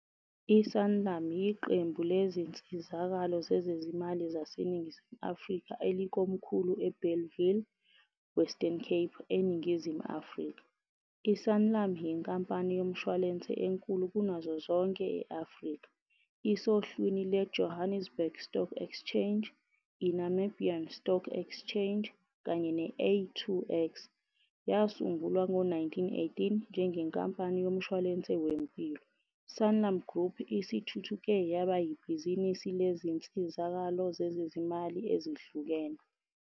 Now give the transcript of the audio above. ISanlam yiqembu lezinsizakalo zezezimali zaseNingizimu Afrika elikomkhulu eBellville, Western Cape, eNingizimu Afrika. I-Sanlam yinkampani yomshwalense enkulu kunazo zonke e-Afrika. Isohlwini lweJohannesburg Stock Exchange, iNamibian Stock Exchange kanye ne - A2X. Yasungulwa ngo-1918 njengenkampani yomshwalense wempilo, Sanlam Group isithuthuke yaba yibhizinisi lezinsizakalo zezezimali ezihlukene.